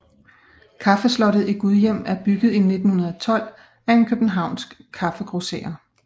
Kaffeslottet i Gudhjem er bygget i 1912 af en københavnsk kaffegrosserer